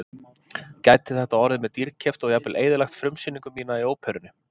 Gæti þetta orðið mér dýrkeypt og jafnvel eyðilagt frumsýningu mína í óperunni.